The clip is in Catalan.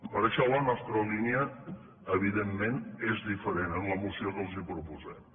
per això la nostra línia evidentment és diferent en la moció que els proposem